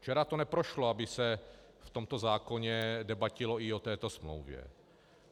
Včera to neprošlo, aby se v tomto zákoně debatilo i o této smlouvě.